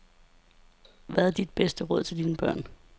Hvad er dit bedste råd til dine børn?